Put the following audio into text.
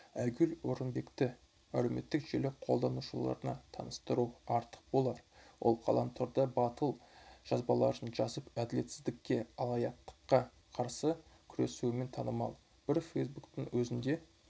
айгүл орынбекті әлеуметтік желі қолданушыларына таныстыру артық болар ол ғаламторда батыл жазбаларын жазып әділетсіздіккке алаяқтыққа қарсы күресуімен танымал бір фейсбуктің өзінде